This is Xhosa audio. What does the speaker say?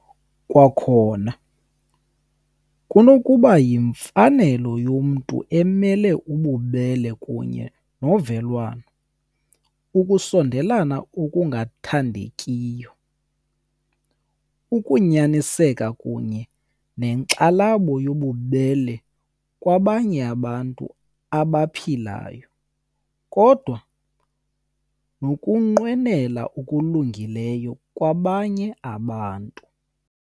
Kwakhona kunokuba yimfanelo yomntu emele ububele kunye novelwano, ukusondelana okungathandekiyo, ukunyaniseka kunye nenkxalabo yobubele kwabanye abantu abaphilayo , kodwa nokunqwenela okulungileyo kwabanye abantu .